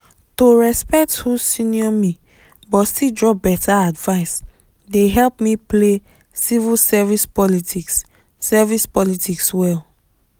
to respect who senior me but still drop better advice dey help me play civil service politics service politics well.